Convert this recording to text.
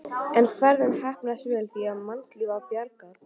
En ferðin heppnaðist vel því að mannslífi var bjargað.